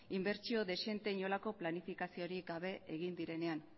inbertsio dezente inolako planifikaziorik gabe egin direnean